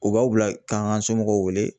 U b'aw bila k'an ka somɔgɔw wele